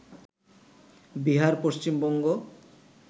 Bihar, Paschimbanga